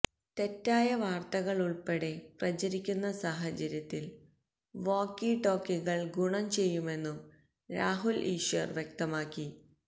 തെറ്റായ വാർത്തകളുൾപ്പെടെ പ്രചരിക്കുന്ന സാഹചര്യത്തിൽ വോക്കി ടോക്കികൾ ഗുണം ചെയ്യുമെന്നും രാഹുൽ ഈശ്വർ വ്യക്തമാക്കി